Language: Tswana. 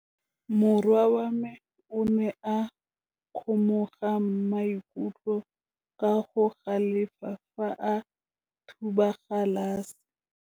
Morwa wa me o ne a kgomoga maikutlo ka go galefa fa a thuba galase.